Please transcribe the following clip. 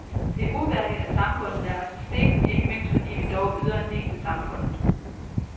Det er uværdigt, at samfundet lader os i stikken, ikke mindst fordi vi dog yder en del til samfundet.